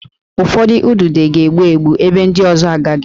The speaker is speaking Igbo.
Ụfọdụ udide ga-egbu egbu, ebe ndị ọzọ agaghị